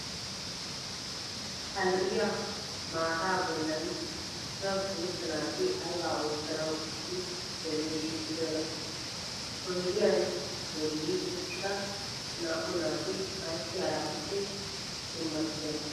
Ha lo'iyaa maataa bollaan cora guutta naati ayba oottanawu issi bolli shiiqidonaa? Oydiyaan bolli uttida naa"u naati ayssi haraatuppe dummatidonaa?